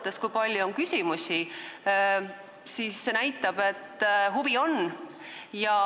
See, kui palju on küsimusi, näitab, et huvi on.